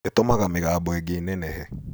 Ĩtũmaga mĩgambo ĩngĩ ĩnenehe